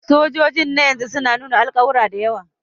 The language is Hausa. Sojojin na yanzu suna nuna alƙawura da yawa